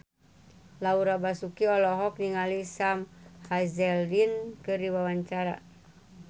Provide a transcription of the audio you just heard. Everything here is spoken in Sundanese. Laura Basuki olohok ningali Sam Hazeldine keur diwawancara